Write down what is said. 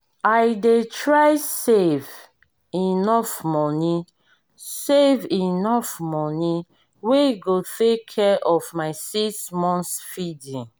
i dey try save enough money save enough money wey go take care of my 6 months feeding